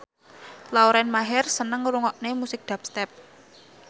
Lauren Maher seneng ngrungokne musik dubstep